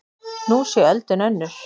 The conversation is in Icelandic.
Nú sé öldin önnur.